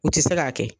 U tɛ se k'a kɛ